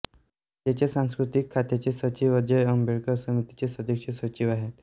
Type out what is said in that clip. राज्याच्या सांस्कृतिक खात्याचे सचिव अजय अंबेकर समितीचे सदस्य सचिव आहेत